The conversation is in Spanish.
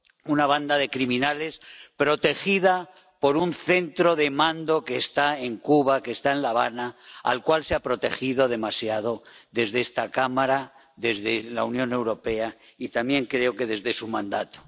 una banda de criminales protegida por un centro de mando que está en Cuba, que está en La Habana, al cual se ha protegido demasiado desde esta cámara, desde la Unión Europea, y también creo que desde su mandato.